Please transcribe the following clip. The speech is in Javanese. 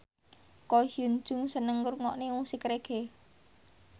Ko Hyun Jung seneng ngrungokne musik reggae